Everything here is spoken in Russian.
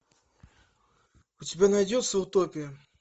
у тебя найдется утопия